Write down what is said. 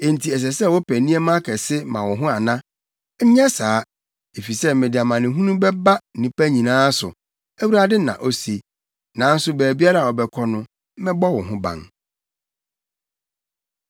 Enti ɛsɛ sɛ wopɛ nneɛma akɛse ma wo ho ana? Nyɛ saa. Efisɛ mede amanehunu bɛba nnipa nyinaa so, Awurade na ose, nanso baabiara a wobɛkɔ no, mɛbɔ wo ho ban.’ ”